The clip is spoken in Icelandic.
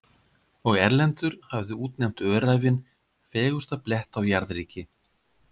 Og Erlendur hafði útnefnt Öræfin fegursta blett á jarðríki.